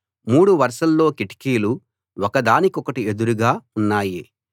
మూడు వరుసల కిటికీలు ఉన్నాయి మూడు వరుసల్లో కిటికీలు ఒక దానికొకటి ఎదురుగా ఉన్నాయి